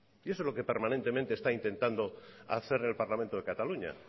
y eso es lo que permanentemente está intentando hacer el parlamento de cataluña